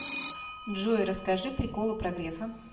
джой расскажи приколы про грефа